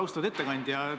Austatud ettekandja!